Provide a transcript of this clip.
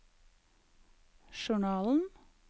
journalen